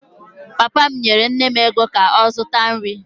Papa m nyere nne m ego ka ọ zụta nri.